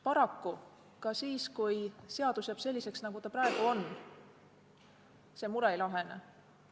Paraku ka siis, kui seadus jääb selliseks, nagu ta praegu on, see mure ei lahene.